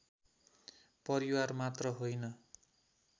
परिवार मात्र होइन